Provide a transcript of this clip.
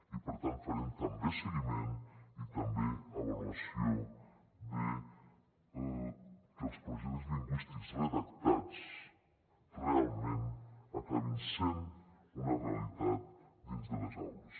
i per tant farem també seguiment i també avaluació de que els pro jectes lingüístics redactats realment acabin sent una realitat dins de les aules